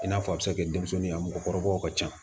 I n'a fɔ a bɛ se ka kɛ denmisɛnnin a mɔgɔkɔrɔbaw ka ca